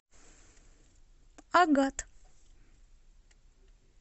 агат